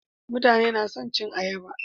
Mutane nason cin ayaba